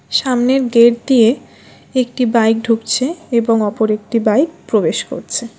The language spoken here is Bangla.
সামনের গেট দিয়ে একটি বাইক ঢুকছে এবং অপর একটি বাইক প্রবেশ করছে।